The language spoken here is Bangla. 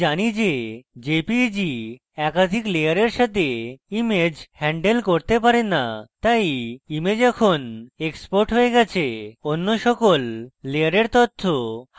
আমি জানি যে jpeg একাধিক layers সাথে image হ্যান্ডেল করতে পারে না তাই image এখন এক্সপোর্ট হয়ে গেছে এবং অন্য সকল layers তথ্য হারিয়ে গেছে